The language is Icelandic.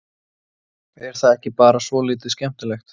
Er það ekki bara svolítið skemmtilegt?